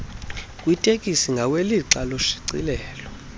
kwitekisi ngawelixa loshicilelo